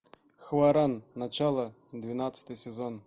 хваран начало двенадцатый сезон